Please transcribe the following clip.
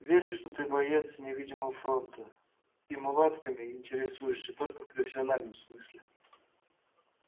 верю что ты боец невидимого фронта и мулатками интересуешься только в профессиональном смысле